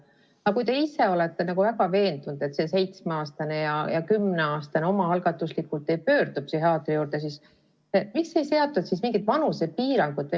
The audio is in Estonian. Aga kui te olete väga veendunud, et seitsmeaastane ja kümneaastane omaalgatuslikult ei pöördu psühhiaatri poole, siis miks ei seatud mingit vanusepiiri?